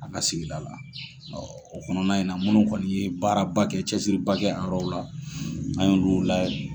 A ka sigida la o kɔnɔna in na munnu kɔni ye baaraba kɛ cɛsiriba kɛ a rɔw la an ye olu la